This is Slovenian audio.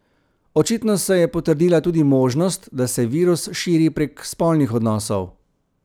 Očitno se je potrdila tudi možnost, da se virus širi prek spolnih odnosov.